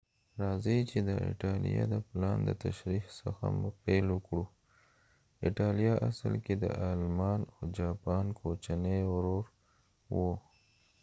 راځئ چې د ایټالیا د پلان د تشریح څخه پیل وکړو ایټالیا اصل کې د آلمان او جاپان کوچنی ورور و